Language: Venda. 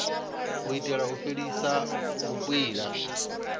u itela u fhelisa vhukwila